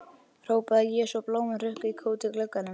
hrópaði ég svo blómin hrukku í kút í glugganum.